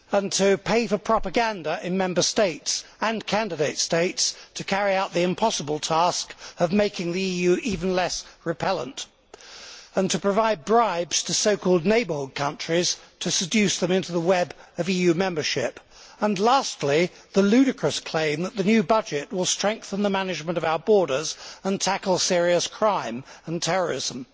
to pay for propaganda in Member States and candidate states to carry out the impossible task of making the EU even less repellent to provide bribes to so called neighbourhood countries to seduce them into the web of EU membership and lastly the ludicrous claim that the new budget will strengthen the management of our borders and tackle serious crime and terrorism.